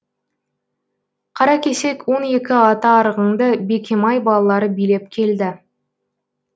қаракесек он екі ата арғынды бекемай балалары билеп келді